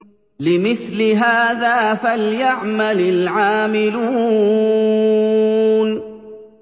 لِمِثْلِ هَٰذَا فَلْيَعْمَلِ الْعَامِلُونَ